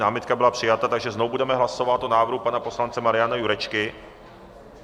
Námitka byla přijata, takže znovu budeme hlasovat o návrhu pana poslance Mariana Jurečky.